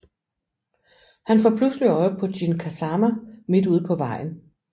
Han får pludselig øje på Jin Kazama midt ude på vejen